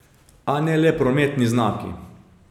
A ne le prometni znaki.